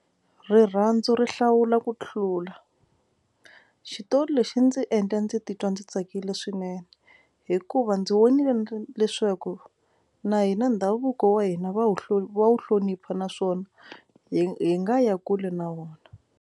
Rirhandzu ri hlawula ku tlula xitori lexi ndzi endla ndzi titwa ndzi tsakile swinene hikuva ndzi vonile leswaku na hina ndhavuko wa hina va wu wu hlonipha naswona hi hi nga ya kule na wona.